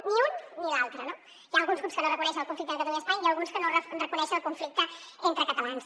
ni l’un ni l’altre no hi ha alguns grups que no reconeixen el conflicte entre catalunya i espanya i n’hi ha alguns que no reconeixen el conflicte entre catalans